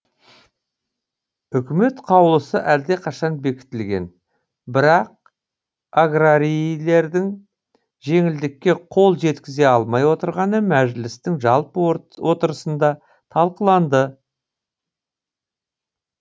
үкімет қаулысы әлдеқашан бекітілген бірақ аграрийлердің жеңілдікке қол жеткізе алмай отырғаны мәжілістің жалпы отырысында талқыланды